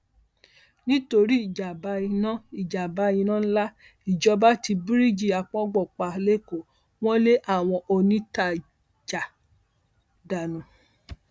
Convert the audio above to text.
torí ìjàmbá iná ìjàmbá iná ńlá ìjọba ti bíríìjì àpọngbọn pa lẹkọọ wọn lé àwọn òǹtajà dànù